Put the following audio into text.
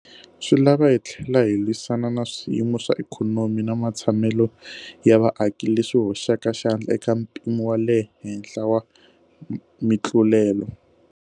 Swi lava hi tlhela hi lwisana na swiyimo swa ikhonomi na matshamelo ya vaaki leswi hoxaka xandla eka mpimo wa le henhla wa mitlulelo.